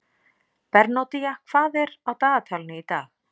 Bernódía, hvað er á dagatalinu í dag?